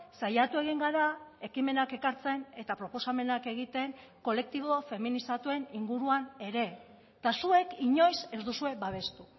saiatu egin gara ekimenak ekartzen eta proposamenak egiten kolektibo feminizatuen inguruan ere eta zuek inoiz ez duzue babestu